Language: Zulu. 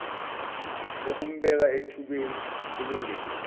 okumbeka ethubeni elingelihle